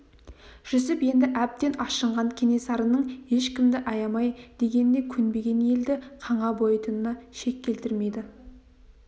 жүсіп енді әбден ашынған кенесарының ешкімді аямай дегеніне көнбеген елді қанға бояйтынына шек келтірмеді